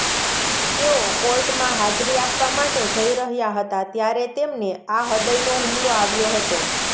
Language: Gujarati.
તેઓ કોર્ટમાં હાજરી આપવા માટે જઇ રહ્યા હતા ત્યારે તેમને આ હૃદયનો હુમલો આવ્યો હતો